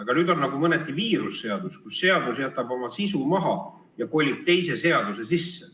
Ent nüüd on nii, et viirusseadus mõneti jätab oma sisu maha ja kolib teise seaduse sisse.